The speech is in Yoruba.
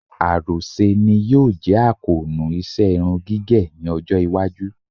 Àròṣe ni yóò jẹ́ àkóónú iṣẹ́ irun gígẹ̀ ní ọjọ́-iwájú.